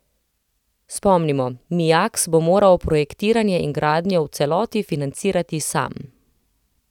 Spomnimo, Mijaks bo moral projektiranje in gradnjo v celoti financirati sam.